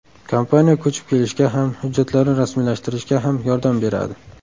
Kompaniya ko‘chib kelishga ham, hujjatlarni rasmiylashtirishga ham yordam beradi.